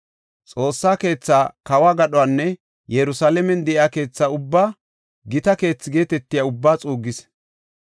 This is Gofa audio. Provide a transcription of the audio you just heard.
Xoossa keethaa, kawo gadhonne Yerusalaamen de7iya keetha ubbaa, gita keethi geetetiya ubbaa xuuggis.